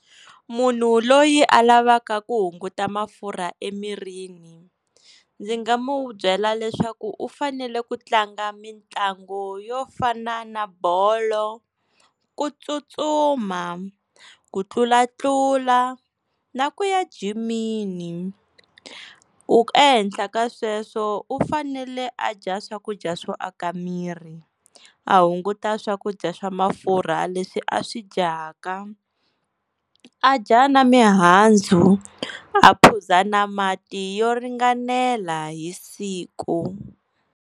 Munhu loyi a lavaka ku hunguta mafurha emirini, ndzi nga n'wu byela leswaku u fanele ku tlanga mitlangu yo fana na bolo, kutsutsuma, ku tlulatlula na ku ya jimini u. Ehenhla ka sweswo u fanele a dya swakudya swo aka miri a hunguta swakudya swa mafurha leswi a swi dyaka, a dya na mihandzu a phuza na mati yo ringanela hi siku.